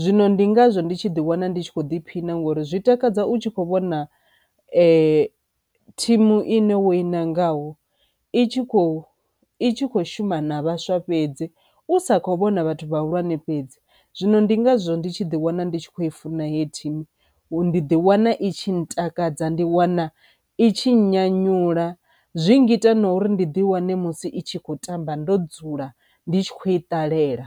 Zwino ndi ngazwo ndi tshi ḓi wana ndi tshi kho ḓiphina ngori zwi takadza u tshi kho vhona ee thimu ine wo i nangaho i tshi kho i tshi kho shuma na vhaswa fhedzi u sa kho vhona vhathu vhahulwane fhedzi. Zwino ndi ngazwo ndi tshi ḓi wana ndi tshi kho i funa hei thimu ndi ḓi wana i tshi ntakadza ndi wana i tshi nyanyula zwi ngita na uri ndi ḓi wane musi itshi kho tamba ndo dzula ndi tshi khou i ṱalela.